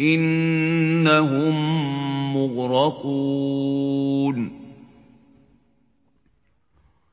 إِنَّهُم مُّغْرَقُونَ